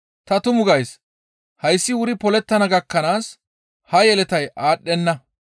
Ta tumu gays; hayssi wuri polettana gakkanaas ha yeletay aadhdhenna.